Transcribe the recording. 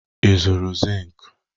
Ị zụrụ zink?